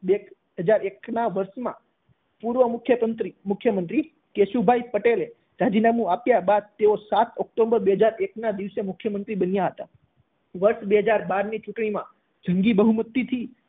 બે હાજર એકના વર્ષમાં પૂર્વ મુખ્યતંત્રી મુખ્યમંત્રી કેશુભાઈ પટેલે રાજીનામું આપ્યા બાદ તેઓ સાત ઓક્ટોબર બે હાજર એક ના દિવસે મુખ્યમંત્રી બન્યા હતા વર્ષ બે હાજર બાર ની ચૂંટણીમાં જંગી બહુમતીથી